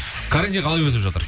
карантин қалай өтіп жатыр